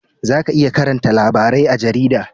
Za ka iya karanta labarai a jarida